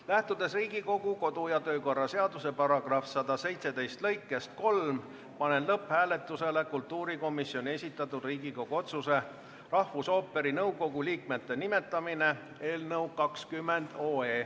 Lähtudes Riigikogu kodu- ja töökorra seaduse § 117 lõikest 3, panen lõpphääletusele kultuurikomisjoni esitatud Riigikogu otsuse "Rahvusooperi nõukogu liikmete nimetamine" eelnõu.